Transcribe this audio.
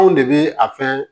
Anw de bɛ a fɛn